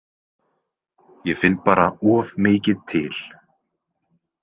Ég finn bara of mikið til.